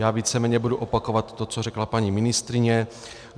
Já víceméně budu opakovat to, co řekla paní ministryně.